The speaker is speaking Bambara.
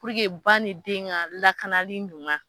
ba nin de den ka lakanali ɲuma.